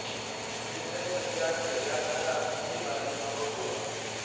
ਵਿਸੁਏ ਚਸਿਆ ਘੜੀਆ ਪਹਰਾ ਥਿਤੀ ਵਾਰੀ ਮਾਹੁ ਹੋਆ